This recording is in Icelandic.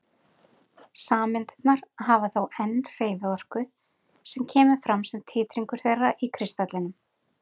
Sameindirnar hafa þó enn hreyfiorku sem kemur fram sem titringur þeirra í kristallinum.